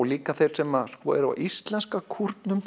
líka þeir sem eru á íslenska